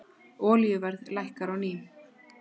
Olíuverð lækkar á ný